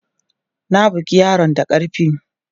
Na bugi yaron da karfi!